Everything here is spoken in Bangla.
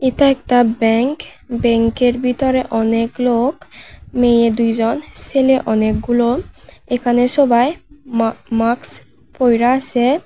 এতা একতা ব্যাঙ্ক ব্যাঙ্কের বিতরে অনেক লোক মেয়ে দুইজন সেলে অনেকগুলো এখানে সবাই মা মাকস পইরা আসে।